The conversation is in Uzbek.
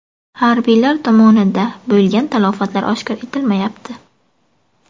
Harbiylar tomonida bo‘lgan talafotlar oshkor etilmayapti.